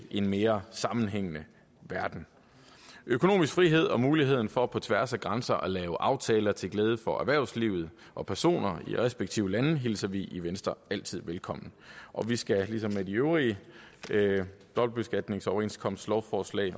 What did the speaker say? en mere sammenhængende verden økonomisk frihed og muligheden for på tværs af grænser at lave aftaler til glæde for erhvervslivet og personer i de respektive lande hilser vi i venstre altid velkommen vi skal ligesom ved de øvrige dobbeltbeskatningsoverenskomstlovforslag